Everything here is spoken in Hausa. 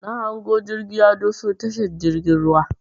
Na hango jirgi ya doso tashar jirgin ruwan.